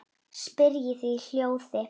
spyrjið þið í hljóði.